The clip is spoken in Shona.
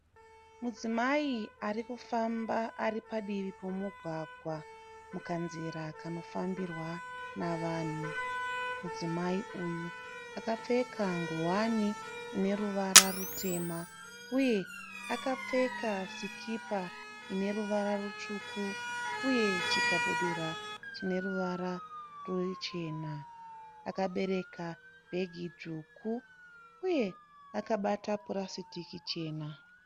Mudzimai arikufamba aripadivi pemugwagwa mukanzira kanofambirwa navanhu. Mudzimai uyu akapfeka ngowani ineruvara rutema uye akapfeka sikipa ineruvara rutsvuku uye chikabudura chineruvara ruchena. Akabereka bhegi dzvuku uye akabata purasitiki jena.